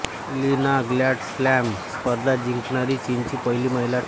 ली Na grand slam स्पर्धा जिंकणारी चीनची पहिली महिला ठरली